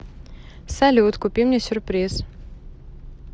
салют купи мне сюрприз